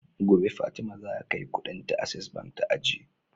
Gobe fatima zaka kai Ƙudin ta access bank ta ajiye